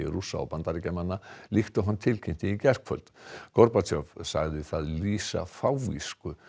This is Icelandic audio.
Rússa og Bandaríkjamanna líkt og hann tilkynnti í gærkvöld sagði það lýsa fávisku